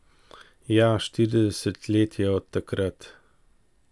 Ja, štirideset let je od takrat.